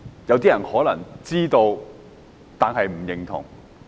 有些人可能知道，但不認同。